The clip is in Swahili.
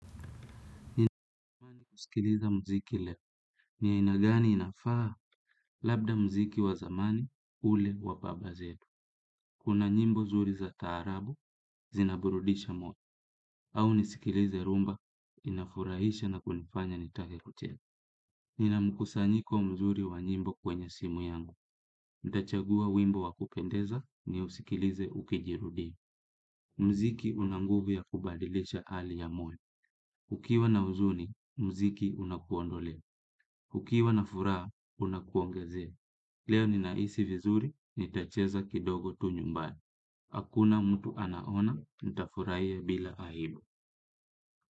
Nina usikiliza muziki leo ni ya aina gani inafaa labda muziki wa zamani ule wa baba zetu. Kuna nyimbo nzuri za taarabu zinaburudisha moyo au nisikilize rhumba inafurahisha na kunifanya nitake kucheza. Nina mkusanyiko mzuri wa nyimbo kwenye simu yangu. Nitachagua wimbo wa kupendeza niusikilize ukijirudia. Myziki una nguvu ya kubadilisha hali ya moyo. Ukiwa na huzuni, muziki unakuondolea. Hukiwa na furaha, unakuongezea. Leo ninahisi vizuri, nitacheza kidogo tu nyumbani. Hakuna mtu anaona, nitafurahia bila aibu.